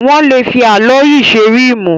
Wọ́n lè fi álọ́ọ̀yì ṣe ríìmù.